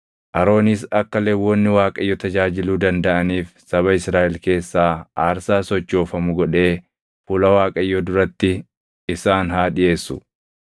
Aroonis akka Lewwonni Waaqayyo tajaajiluu dandaʼaniif saba Israaʼel keessaa aarsaa sochoofamu godhee fuula Waaqayyoo duratti isaan haa dhiʼeessu.